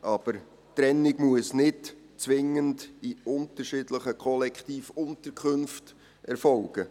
Aber die Trennung muss nicht zwingend in unterschiedlichen Kollektivunterkünften erfolgen.